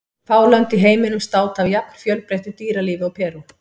Fá lönd í heiminum státa af jafn fjölbreyttu dýralífi og Perú.